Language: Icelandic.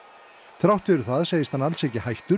þrátt fyrir það segist hann alls ekki hættur